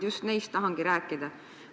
Just neist ma tahangi rääkida.